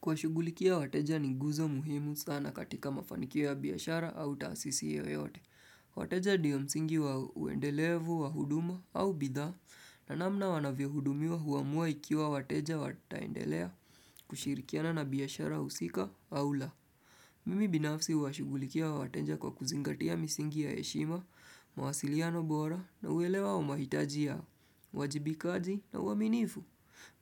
Kuwashugulikia wateja ni guzo muhimu sana katika mafanikia ya biashara au taasisi yoyote. Wateja ndiyo msingi wa uendelevu, wahuduma au bidhaa, na namna wanavyo hudumiwa huamua ikiwa wateja wa taendelea kushirikiana na biashara husika au la. Mimi binafsi huwashugulikia wa wateja kwa kuzingatia misingi ya heshima, mawasiliano bora na uelewa wa mahitaji ya uwajibikaji na uaminifu.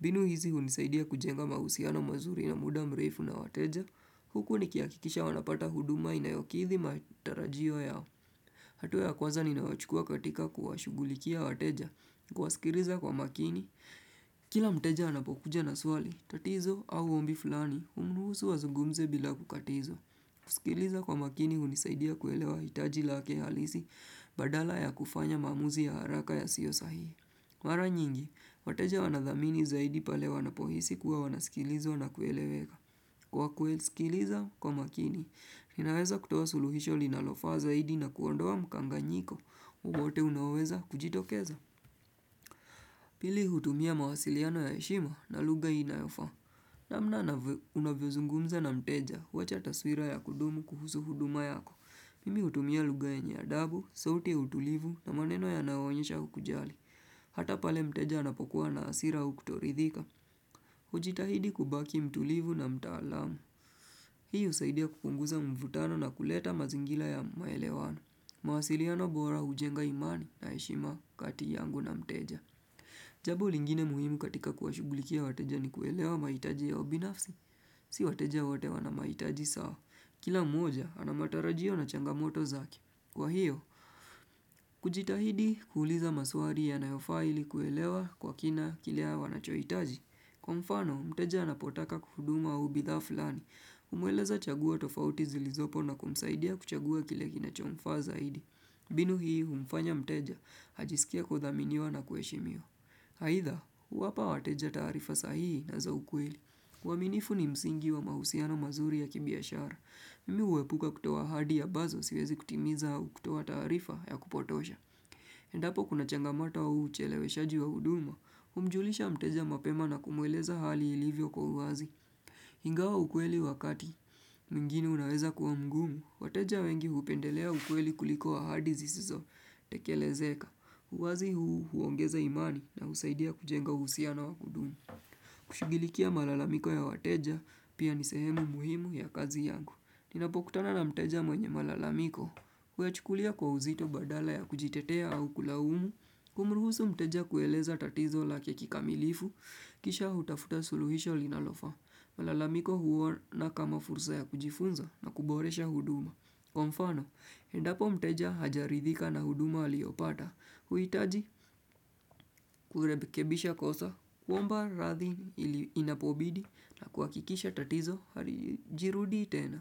Binu hizi hunisaidia kujenga mahusiano mazuri na muda mrefu na wateja. Huku nikiakikisha wanapata huduma inayokithi matarajio yao. Hatua ya kwanza ninayochukua katika kuwashugulikia wateja. Kuwaskiriza kwa makini. Kila mteja anapokuja na swali, tatizo au ombi fulani, umruhusu wazungumze bila kukatizwa. Kusikiliza kwa makini hunisaidia kuelewa hitaji lake halisi, badala ya kufanya maamuzi ya haraka yasiyo sahihi. Mara nyingi, wateja wanadhamini zaidi pale wanapohisi kuwa wanasikilizwa na kueleweka. Kwa kuwasikiliza, kwa makini, ninaweza kutuwa suluhisho linalofaa zaidi na kuondowa mkanganyiko, wowote unaoweza kujitokeza. Pili hutumia mawasiliano ya heshimo na lugha inayofaa. Namna unavyozungumza na mteja, huwacha taswira ya kudumu kuhusu huduma yako. Mimi hutumia lugha yenye adabu, sauti ya utulivu na maneno yanayoonyesha ukujali. Hata pale mteja anapokuwa na asira au kutoridhika, ujitahidi kubaki mtulivu na mtaalamu. Hii usaidia kupunguza mvutano na kuleta mazingila ya maelewano. Mwasiliano bora ujenga imani na heshima kati yangu na mteja. Jabo lingine muhimu katika kuwashugulikia wateja ni kuelewa maitaji yao binafsi. Si wateja wote wana maitaji sawa. Kila mmoja, anamatarajio na changamoto zake. Kwa hiyo, kujitahidi kuuliza maswali yanayofaa ili kuelewa kwa kina kile wanachoitaji. Kwa mfano, mteja anapotaka kuhuduma au bidhaa fulani. Humueleza chagua tofauti zilizopo na kumsaidia kuchagua kile kinachomfaa zaidi. Binu hii humfanya mteja, hajisikia kudhaminiwa na kuheshimiwa. Haitha, kuwapa wateja taarifa sahihi na za ukweli. Uaminifu ni msingi wa mahusiano mazuri ya kibiashara. Mimi uwepuka kutoa ahadi abazo siwezi kutimiza au kutoa taarifa ya kupotosha. Endapo kuna changamoto wa ucheleweshaji wa huduma, umjulisha mteja mapema na kumweleza hali ilivyo kwa uazi. Ingawa ukweli wakati, mwingini unaweza kuwa mgumu, wateja wengi hupendelea ukweli kuliko ahadi zisizo tekelezeka. Uwazi huu huongeza imani na husaidia kujenga uhusiano wa wakudumu. Kushughulikia malalamiko ya wateja pia ni sehemu muhimu ya kazi yangu. Inapokutana na mteja mwenye malalamiko, huyachukulia kwa uzito badala ya kujitetea au kulaumu, kumruhusu mteja kueleza tatizo lake kikamilifu, kisha hutafuta suluhisho linalofaa. Malalamiko huona kama fursa ya kujifunza na kuboresha huduma. Kwa mfano, endapo mteja hajaridhika na huduma aliopata, huitaji kurebekebisha kosa, kuomba rathi ili inapobidi na kuhakikisha tatizo harijirudii tena.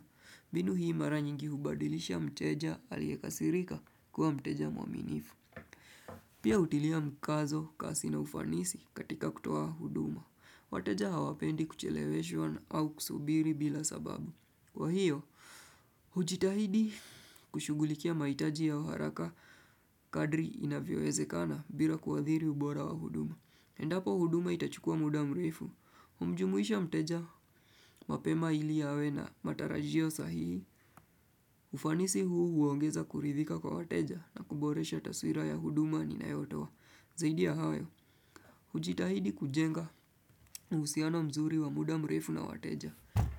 Binu hii mara nyingi hubadilisha mteja aliekasirika kuwa mteja mwaminifu. Pia utilia mkazo kasi na ufanisi katika kutoa huduma. Wateja hawapendi kucheleweshwa au kusubiri bila sababu. Kwa hiyo, hujitahidi kushugulikia maitaji ya uharaka kadri inavyo wezekana bila kuadhiri ubora wa huduma. Endapo huduma itachukua muda mrefu. Umjumuisha mteja, mapema ili awe na matarajio sahihi. Ufanisi huu huongeza kuridhika kwa wateja na kuboresha taswira ya huduma ninayotoa. Zaidi ya hayo, hujitahidi kujenga uhusiano mzuri wa muda mrefu na wateja.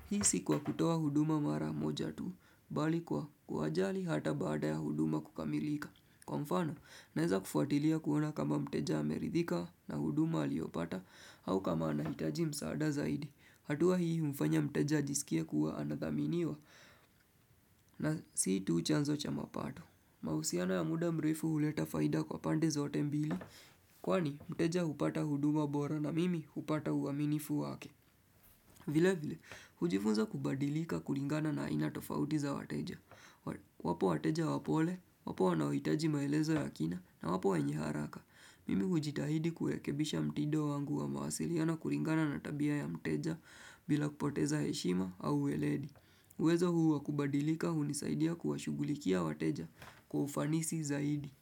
Hii si kwa kutoa huduma mara moja tu, bali kwa kuwajali hata baada ya huduma kukamilika. Kwa mfano, naeza kufuatilia kuona kama mteja ameridhika na huduma aliyopata au kama anahitaji msaada zaidi. Hatuwa hii humfanya mteja ajisikia kuwa anadhaminiwa na si tu chanzo cha mapato. Mausiano ya muda mrefu huleta faida kwa pande zote mbili. Kwani mteja hupata huduma bora na mimi hupata uaminifu wake. Vile vile, hujifunza kubadilika kuringana na aina tofauti za wateja. Wapo wateja wapole, wapo wanaohitaji maelezo ya kina na wapo wenye haraka Mimi ujitahidi kuekebisha mtido wangu wa mawasiliano kuringana na tabia ya mteja bila kupoteza heshima au ueledi uwezo huu wakubadilika unisaidia kuwashugulikia watejakwa ufanisi zaidi.